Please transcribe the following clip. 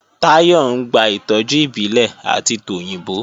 Táyọ̀ ń gba ìtọ́jú ìbílẹ̀ àti tòyìnbó